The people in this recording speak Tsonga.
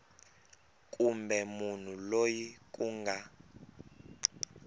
kumbe munhu loyi ku nga